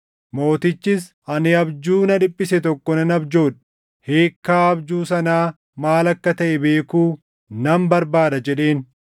mootichis, “Ani abjuu na dhiphise tokko nan abjoodhe; hiikkaa abjuu sanaa maal akka taʼe beekuu nan barbaada” jedheen.